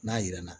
N'a yirana